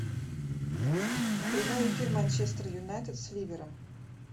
прямой эфир манчестер юнайтед с ливером